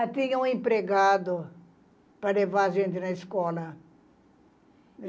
Ah, tinha um empregado para levar a gente na escola.